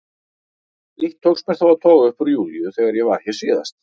Eitt tókst mér þó að toga upp úr Júlíu þegar ég var hér síðast.